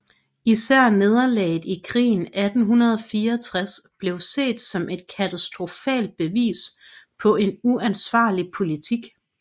Især nederlaget i krigen 1864 blev set som et katastrofalt bevis på en uansvarlig politik